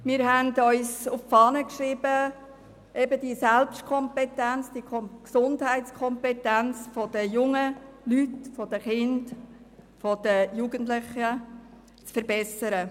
Wir haben uns auf die Fahne geschrieben, die Gesundheitskompetenz der Kinder und Jugendlichen zu verbessern.